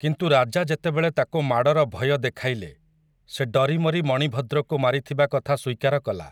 କିନ୍ତୁ ରାଜା ଯେତେବେଳେ ତାକୁ ମାଡ଼ର ଭୟ ଦେଖାଇଲେ, ସେ ଡରିମରି ମଣିଭଦ୍ରକୁ ମାରିଥିବା କଥା ସ୍ୱୀକାର କଲା ।